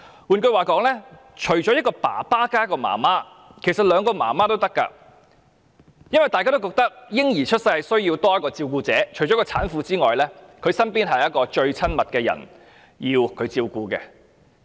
換言之，除了一名父親加一名母親外，其實是兩名母親也可以，因為大家也認為嬰兒出世後需要有多一位照顧者，而產婦也需要她身邊最親密的人照顧。